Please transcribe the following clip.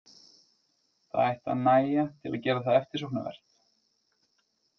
Það ætti að nægja til að gera það eftirsóknarvert.